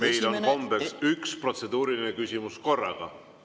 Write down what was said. Meil on kombeks üks protseduuriline küsimus korraga.